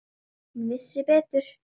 Hún vissi betur.